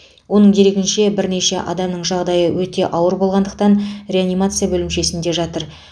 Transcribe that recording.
оның дерегінше бірнеше адамның жағдайы өте ауыр болғандықтан реанимация бөлімшесінде жатыр